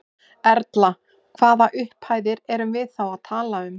Erla: Hvaða upphæðir erum við þá að tala um?